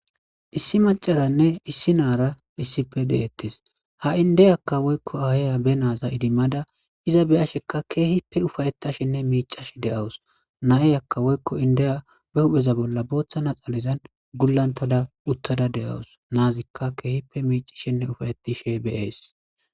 Issi macazanne issi naara issippe deettes ha'i indeyakka woykko ahaya be naaza idimmada iza beyashekka keehippe ufayettashinne miicash deawus na'ey akka woykko indeya be hupheza bolla booththa naxalizan gullantada uttada de'awus naazikka keehippe miicishinne ufayettishe beees